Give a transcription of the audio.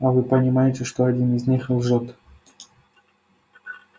а вы понимаете что один из них лжёт